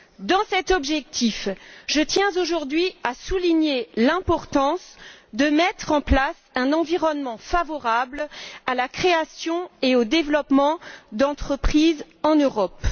Dans cet objectif, je tiens aujourd'hui à souligner l'importance de mettre en place un environnement favorable à la création et au développement d'entreprises en Europe.